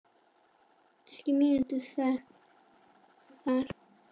Ekki mínútu síðar